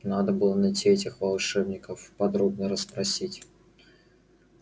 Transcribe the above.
надо было найти этих волшебников подробно обо всем расспросить